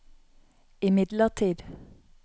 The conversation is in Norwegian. imidlertid